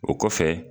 O kɔfɛ